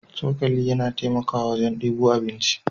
Cokali yana taimakawa wajen debo abinci.